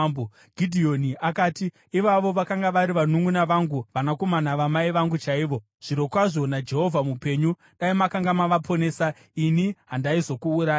Gidheoni akati, “Ivavo vakanga vari vanunʼuna vangu vanakomana vamai vangu chaivo. Zvirokwazvo naJehovha mupenyu, dai makanga mavaponesa, ini handaizokuurayai.”